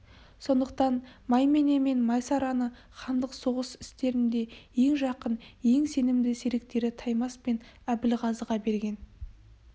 сондықтан маймене мен майсараны хандық соғыс істерінде ең жақын ең сенімді серіктері таймас пен әбілғазыға берген